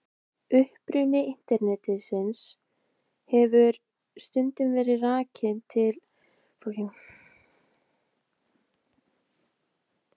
Uppruni Internetsins hefur stundum verið rakinn til kalda stríðsins og kjarnorkuvárinnar.